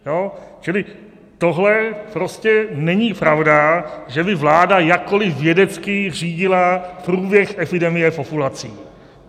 Čili tohle prostě není pravda, že by vláda jakkoli vědecky řídila průběh epidemie populací.